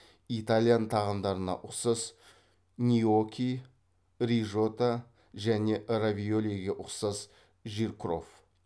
итальян тағамдарына ұқсас ньоки рижота және равиолиге ұқсас жиркроф